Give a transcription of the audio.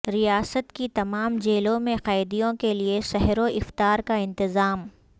ریاست کی تمام جیلوں میں قیدیوں کیلئے سحر و افطار کا انتظام